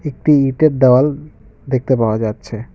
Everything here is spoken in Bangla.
একটি ইটের দেওয়াল দেখতে পাওয়া যাচ্ছে।